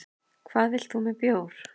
Hvað vilt þú með bjór?